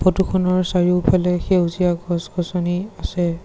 ফটোখনৰ চাৰিওফালে সেউজীয়া গছ গছনি আছে।